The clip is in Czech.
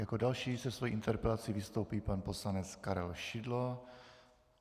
Jako další se svou interpelací vystoupí pan poslanec Karel Šidlo.